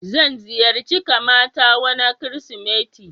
Zan ziyarce kamata wana kirisimeti.